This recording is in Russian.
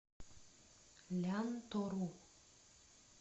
лянтору